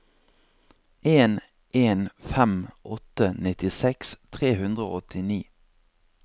en en fem åtte nittiseks tre hundre og åttini